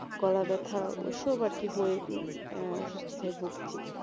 গলা ব্যাথা ওইসব আরকি হয়ে উম অসুস্থতায় ভুগছি,